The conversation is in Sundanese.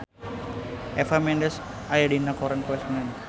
Eva Mendes aya dina koran poe Senen